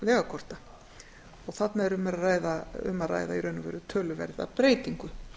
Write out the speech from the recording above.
óleyfilegra vegakorta þarna er um að ræða í raun og veru töluverða breytingu